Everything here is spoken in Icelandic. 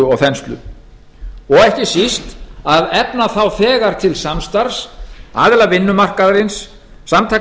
og þenslu og ekki síst að efna þá þegar til samstarfs aðila vinnumarkaðarins samtaka